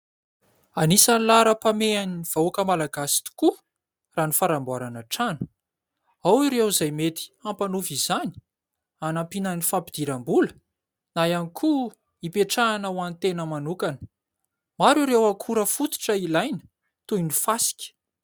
Anisan'ny laharam-pamehan'ny vahoaka Malagasy tokoa raha ny fanamboarana trano, ao ireo izay mety hampanofa izany hanampiana ny fampidiram-bola na ihany koa hipetrahana ho any tena manokana. Maro ireo akora fototra ilaina toy ny fasika.